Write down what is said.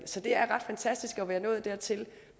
så det er ret fantastisk at være nået dertil